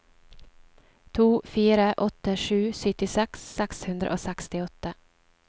to fire åtte sju syttiseks seks hundre og sekstiåtte